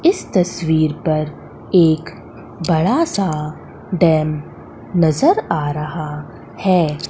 इस तस्वीर पर एक बड़ा सा डैम नजर आ रहा है।